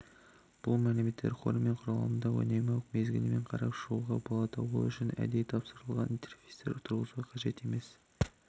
бұл мәліметтер қоры мен құрылымдарды үнемі мезгілмен қарап шығуға болады ол үшін әдейі тапсырылған интерфейстер тұрғызуға қажет емес